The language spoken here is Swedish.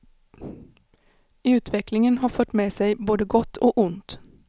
Utvecklingen har fört med sig både gott och ont.